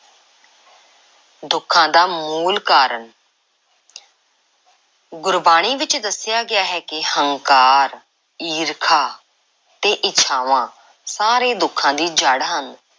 ਦੁੱਖਾਂ ਦਾ ਮੂਲ ਕਾਰਨ ਗੁਰਬਾਣੀ ਵਿੱਚ ਦੱਸਿਆ ਗਿਆ ਹੈ ਕਿ ਹੰਕਾਰ, ਈਰਖਾ ਅਤੇ ਇੱਛਾਵਾਂ ਸਾਰੇ ਦੁੱਖਾਂ ਦੀ ਜੜ੍ਹ ਹਨ।